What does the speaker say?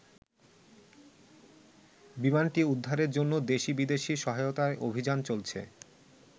বিমানটি উদ্ধারের জন্য দেশি-বিদেশী সহায়তায় অভিযান চলছে।